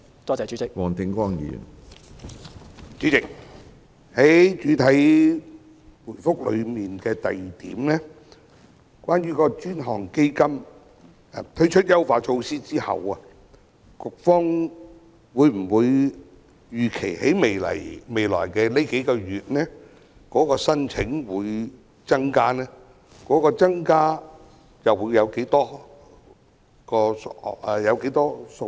主席，主體答覆第二部分提及政府已為 BUD 專項基金推出優化措施，局方預期未來數個月的申請宗數會否增加；如會，增加的宗數會是多少？